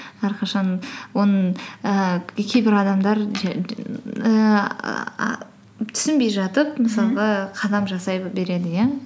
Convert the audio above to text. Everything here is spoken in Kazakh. әрқашан оның ііі кейбір адамдар түсінбей жатып мхм мысалға қадам жасай береді иә